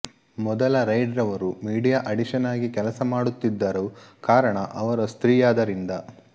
ಮೊದಲ ರೈಡ್ ರವರು ಮಿಡಿಯಾ ಅಡಿಷನ್ ಆಗಿ ಕೆಲಸ ಮಾಡುತ್ತಿದರು ಕಾರಣ ಅವರು ಸ್ರ್ತೀಯಾದರಿಂದ